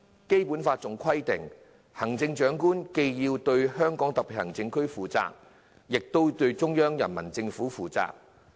《基本法》規定行政長官既要對香港特別行政區負責，亦對中央人民政府負責。